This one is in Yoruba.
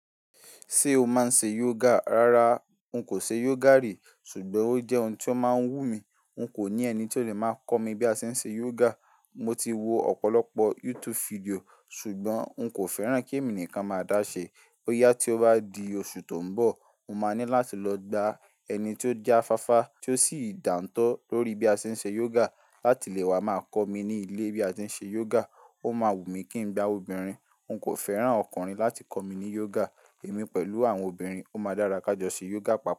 Ṣé o máa ń ṣe yoga? Rárá, n kò ṣe yoga rí, ṣùgbọ́n ó jẹ́ ohun tó máa ń wú mi. N kò ní ẹni tó lè máa kọ́ mi bí a ṣe ń ṣe yoga. Mo ti wo ọ̀pọ̀lọpọ̀ YouTube fídíò, ṣùgbọ́n n kò fẹ́ràn kí èmi nìkan máa dáṣe. Ó yá tí ó bá di oṣù tó ń bọ̀, mo máa ní láti lọ gba ẹni tó jáfáfá tí ó sì dántọ́ lórí bí a ṣe ń ṣe yoga láti lè wá máa kọ́ mi ní ilé bí a ṣe ń ṣe yoga. Ó máa wù mí kí n gba obìnrin. N kò fẹ́ràn ọkùnrin láti kọ́ mi ní yoga. Èmi pẹ̀lú àwọn obìnrin, ó máa dárà kàjọ ṣe yoga papọ̀